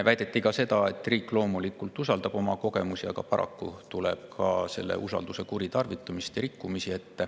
Väideti ka, et riik loomulikult usaldab oma, aga paraku tuleb ette ka usalduse kuritarvitamist ja rikkumisi.